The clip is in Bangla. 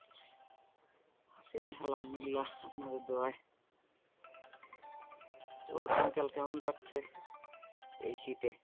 আছি আল্হামদুল্লিলা আপনাদের দোয়াই তো দিন কাল কেমন কাটছে, এই শীতে?